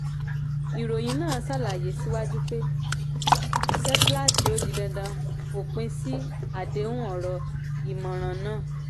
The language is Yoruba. ìròyìn náà tún ṣàlàyé síwájú pé síwájú pé seplat ó di dandan fòpin sí àdéhùn ọ̀rọ̀-ìmọ̀ràn náà.